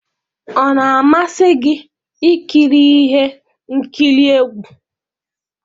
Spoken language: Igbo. Ọ na-amasị gị ikiri ihe nkiri egwu?